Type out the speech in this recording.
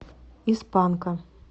из панка